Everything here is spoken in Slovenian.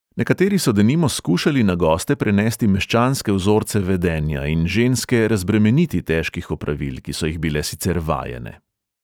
Nekateri so denimo skušali na goste prenesti meščanske vzorce vedenja in ženske razbremeniti težkih opravil, ki so jih bile sicer vajene.